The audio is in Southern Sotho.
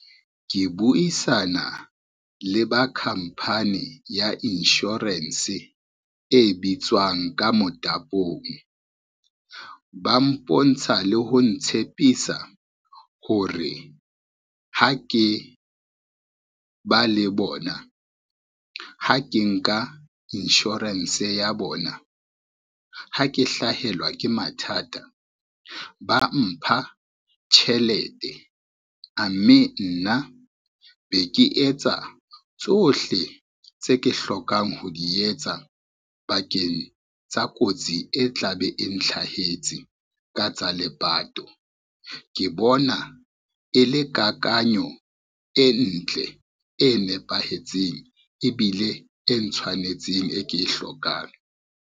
Ke buisana le ba company ya insurance, e bitswang ka Motapong. Ba mpontsha le ho ntshepisa hore ha ke ba le bona, ha ke nka insurance ya bona, ha ke hlahelwa ke mathata ba mpha tjhelete a mme, nna be ke etsa tsohle tse ke hlokang ho di etsa bakeng tsa kotsi e tlabe e ntlhahetseng ka tsa lepato, ke bona e le kakanyo e ntle, e nepahetseng ebile e ntshwanetseng e ke e hlokang.